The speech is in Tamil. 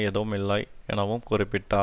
எதுவும் இல்லை எனவும் குறிப்பிட்டார்